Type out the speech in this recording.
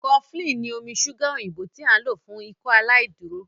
cofflin ni omí ṣuga òyìnbó tí a n lò fún Ikọaláìdúró.